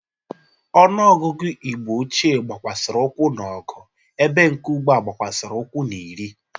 Ọnụọgụgụ Igbo ochie gbakwasịrị ụkwụ n'ọgụ ebe nke ugbu a gbakwasịrị ukwu n'iri.